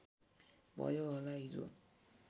भयो होला हिजो